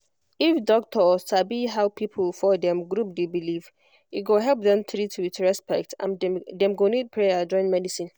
if doctor sabi how people for dem group dey believe e go help dem treat with respect and dem go need prayer join medicine